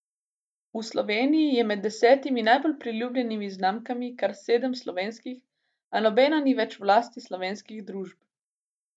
V Sloveniji je med desetimi najbolj priljubljenimi znamkami kar sedem slovenskih, a nobena ni več v lasti slovenskih družb.